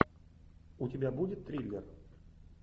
у тебя будет триллер